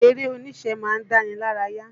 Eré oníṣe ma ń dáni lárayá.